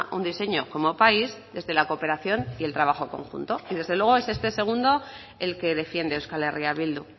un diseño como país desde la cooperación y el trabajo conjunto y desde luego es este segundo el que defiende euskal herria bildu